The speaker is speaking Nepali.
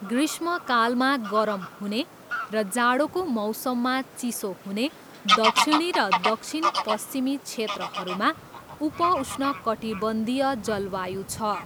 ग्रीष्मकालमा गरम हुने र जाडोको मौसममा चिसो हुने दक्षिणी र दक्षिण पश्चिमी क्षेत्रहरूमा उप उष्णकटिबन्धीय जलवायु छ।